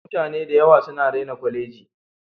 Mutane dayawa suna raina koleji.